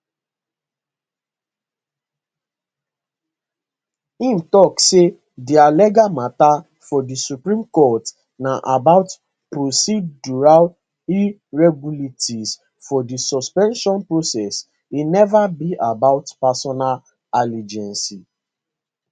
im tok say dia legal mata for di supreme court na about procedural irregularities for di suspension process e neva be about personal allegiance